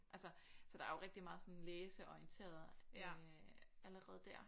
Altså så der er jo rigtig meget sådan læseorienteret øh allerede der